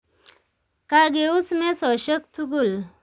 Kageus mesoshek tugul